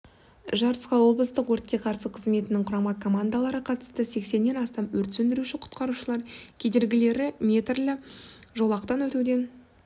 жарысқа облыстық өртке қарсы қызметінің құрама командалары қатысты сексеннен астам өрт сөндіруші-құтқарушылар кедергілі метрлі жолақтан өтуден